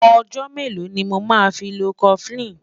ọ̀jò mélò ní mọ má fí ló koflin?